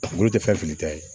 Wulu tɛ fɛn fili ta ye